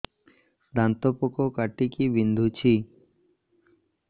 ଦାନ୍ତ ପୋକ କାଟିକି ବିନ୍ଧୁଛି